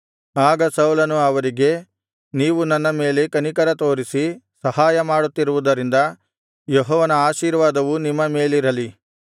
ಆಗ ಸೌಲನು ಅವರಿಗೆ ನೀವು ನನ್ನ ಮೇಲೆ ಕನಿಕರ ತೋರಿಸಿ ಸಹಾಯ ಮಾಡುತ್ತಿರುವುದರಿಂದ ಯೆಹೋವನ ಆಶೀರ್ವಾದವು ನಿಮ್ಮ ಮೇಲಿರಲಿ